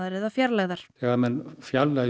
eða fjarlægðar þegar menn fjarlægja